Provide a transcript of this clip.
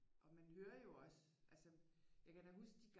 Og man hører jo også altså jeg kan da huske de